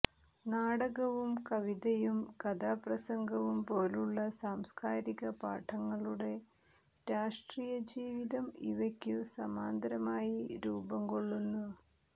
നാടകവും കവിതയും കഥാപ്രസംഗവും പോലുള്ള സാംസ്കാരികപാഠങ്ങളുടെ രാഷ്ട്രീയജീവിതം ഇവയ്ക്കു സമാന്തരമായി രൂപം കൊള്ളുന്നു